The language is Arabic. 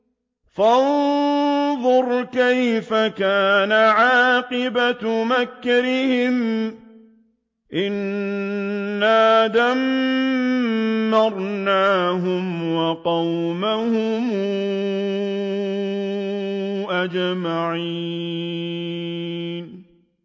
فَانظُرْ كَيْفَ كَانَ عَاقِبَةُ مَكْرِهِمْ أَنَّا دَمَّرْنَاهُمْ وَقَوْمَهُمْ أَجْمَعِينَ